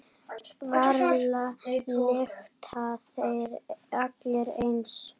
Varla lykta þeir allir eins.